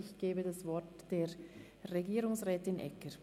Ich gebe das Wort Frau Regierungsrätin Egger.